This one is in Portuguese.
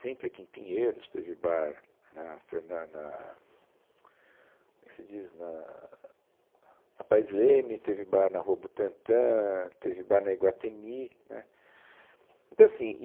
Sempre aqui em Pinheiros teve bar na Fernan, na, como é que se diz, na na Paes Leme, teve bar na Rua Butantan, teve bar na Iguatemi, né. Então assim